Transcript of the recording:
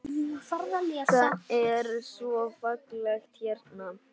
Það er svo fallegt hérna.